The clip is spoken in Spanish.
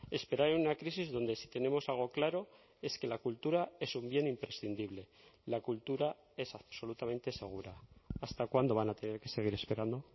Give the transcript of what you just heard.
esperar en una crisis donde si tenemos algo claro es que la cultura es un bien imprescindible la cultura es absolutamente segura hasta cuándo van a tener que seguir esperando